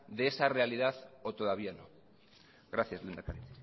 de esa realidad o todavía no gracias lehendakari